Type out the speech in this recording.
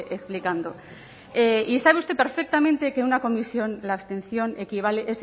explicando y sabe usted perfectamente que en una comisión la abstención equivale